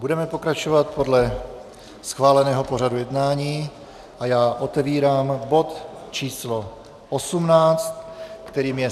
Budeme pokračovat podle schváleného pořadu jednání a já otevírám bod číslo 18, kterým je